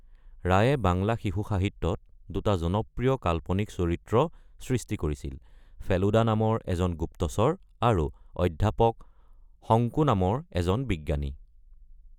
ৰায়ে বাংলা শিশু সাহিত্যত দুটা জনপ্ৰিয় কাল্পনিক চৰিত্ৰ সৃষ্টি কৰিছিল; ফেলুডা নামৰ এজন গুপ্তচৰ আৰু অধ্যাপক শোংকু নামৰ এজন বিজ্ঞানী।